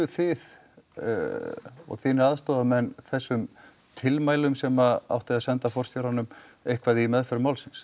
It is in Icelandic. þið og þínir aðstoðarmenn þessum tilmælum sem átti að senda forstjóranum eitthvað í meðferð málsins